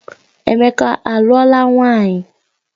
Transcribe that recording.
Emeka aluola nwunye?